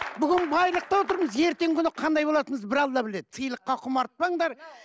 бүгін байлықта отырмыз ертеңгі күні қандай болатынымызды бір алла біледі сыйлыққа құмартпаңдар